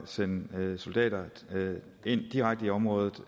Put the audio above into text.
sende soldater ind direkte i området